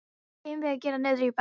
Hvað eigum við að gera niðri í bæ?